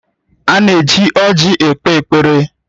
A na-eji ọrji ekpe ekpere